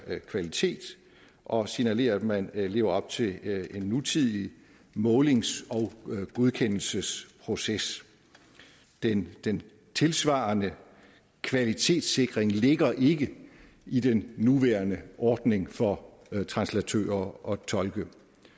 kvalitet og signalere at man lever op til en nutidig målings og godkendelsesproces den den tilsvarende kvalitetssikring ligger ikke i den nuværende ordning for translatører og tolke